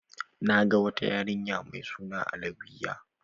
Na ga wata yarinya mai suna Alawiyya.